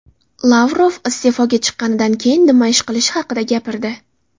Lavrov iste’foga chiqqanidan keyin nima ish qilishi haqida gapirdi.